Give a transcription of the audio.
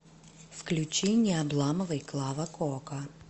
включи не обламывай клава кока